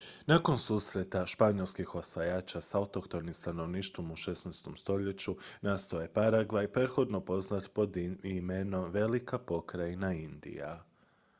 nakon susreta španjolskih osvajača s autohtonim stanovništvom u 16. stoljeću nastao je paragvaj prethodno poznat pod imenom velika pokrajina indija